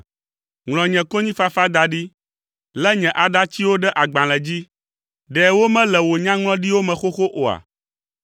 Ŋlɔ nye konyifafa da ɖi; lé nye aɖatsiwo ɖe agbalẽ dzi; ɖe womele wò nyaŋlɔɖiwo me xoxo oa?